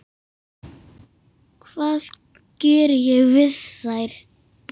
Hvað ég geri við þær?